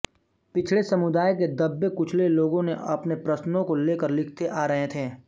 पिछडे समुदाय के दबे कुचले लोगों ने अपने प्रश्नो को लेकर लिखते आ रहे थे